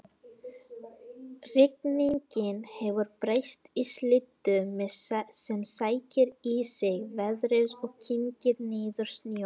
Rigningin hefur breyst í slyddu sem sækir í sig veðrið og kyngir niður snjó